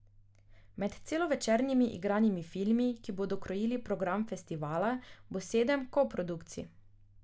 Med celovečernimi igranimi filmi, ki bodo krojili program festivala, bo sedem koprodukcij.